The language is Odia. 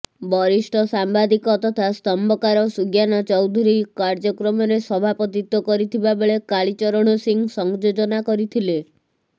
ବରିଷ୍ଠ ସାମ୍ବାଦିକ ତଥା ସ୍ତମ୍ଭକାର ସୁଜ୍ଞାନ ଚୌଧୁରୀ କାର୍ଯ୍ୟକ୍ରମରେ ସଭାପତିତ୍ୱ କରିଥିବା ବେଳେ କାଳୀଚରଣ ସିଂ ସଂଯୋଜନା କରିଥିଲେ